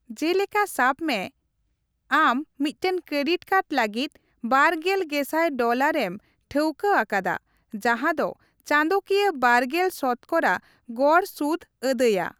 ᱡᱮᱞᱮᱠᱟ ᱥᱟᱵ ᱢᱮ, ᱟᱢ ᱢᱤᱫᱴᱟᱝ ᱠᱨᱮᱰᱤᱴ ᱠᱟᱨᱰ ᱞᱟᱹᱜᱤᱫ ᱵᱟᱨᱜᱮᱞ ᱜᱮᱥᱟᱭ ᱰᱚᱞᱟᱨᱮᱢ ᱴᱷᱟᱹᱣᱠᱟᱹ ᱟᱠᱟᱫᱟ ᱡᱟᱦᱟᱸ ᱫᱚ ᱪᱟᱸᱫᱚᱠᱤᱭᱟᱹ ᱵᱟᱨᱜᱮᱞ ᱥᱚᱛᱚᱠᱚᱨᱟ ᱜᱚᱲ ᱥᱩᱫᱽ ᱟᱹᱫᱟᱹᱭᱼᱟ ᱾